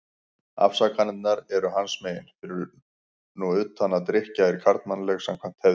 Afsakanirnar eru hans megin, fyrir nú utan að drykkja er karlmannleg, samkvæmt hefðinni.